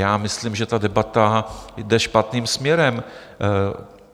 Já myslím, že ta debata jde špatným směrem.